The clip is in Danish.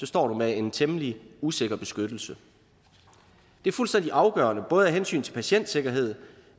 står med en temmelig usikker beskyttelse det er fuldstændig afgørende af hensyn til både patientsikkerhed